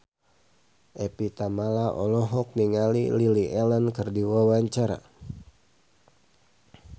Evie Tamala olohok ningali Lily Allen keur diwawancara